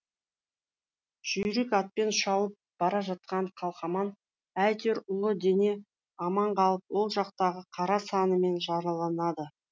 жүйрік атпен шауып бара жатқан қалқаман әйтеуір ұлы дене аман қалып оң жақтағы қара санымен жараланады